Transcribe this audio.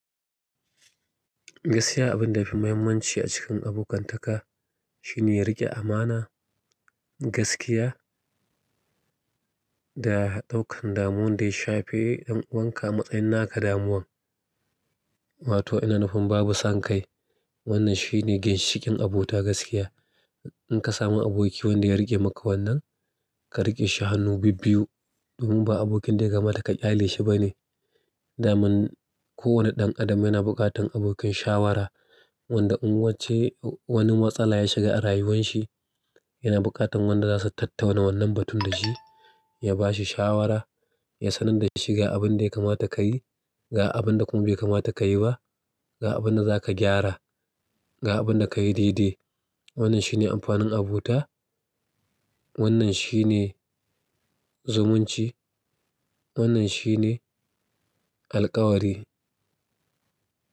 Gaskiya abin da ya fi mahimmanci a cikin abokantaka shine riƙe amana, gaskiya da ɗaukan damuwa dai shafe y'an uwanka a matsayin naka damuwan. Wato ina nufin babu san kai. Wannan shine ginshiƙin abota gaskiya. In ka samu aboki wanda ya riƙe maka wannan, ka riƙe shi hannu bibbiyu domin ba abokin da ya kamata ka ƙyale shi ba ne. Daman kowane ɗan Adam yana buƙatar abokin shawara wanda in wance wani matsala ya shiga a rayuwan shi, yana buƙatar wanda za su tattauna wannan batun da shi, ya ba shi shawara, ya sanar da shi ga abin da ya kamata ka yi, ga abin da kuma bai kamata ka yi ba, ga abin da za ka gyara, ga abin da ka yi dai-dai. Wannan shi ne amfanin abota, wannan shi ne zumunci, wannan shi ne alƙawari.